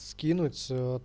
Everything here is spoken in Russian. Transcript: скинуть аа